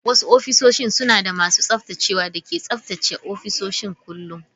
Wasu ofisoshin suna da masu tsaftacewa da ke tsaftace ofisoshin kullun.